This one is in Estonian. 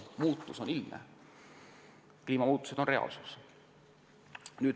Muutus on ilmne, kliimamuutused on reaalsus.